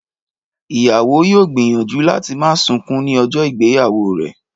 Ìyàwó yóò gbìyànjú láti má sunkún ní ọjọ́ ìgbéyàwó rẹ̀